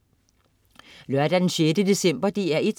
Lørdag den 6. december - DR1: